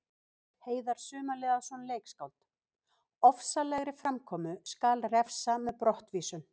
Heiðar Sumarliðason, leikskáld: Ofsalegri framkomu skal refsa með brottvísun.